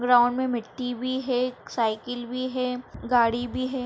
Ground में मिट्टी भी है साइकिल भी है गाड़ी भी है।